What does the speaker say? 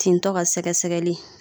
Tintɔ ka sɛgɛsɛgɛli